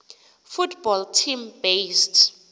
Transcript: football team based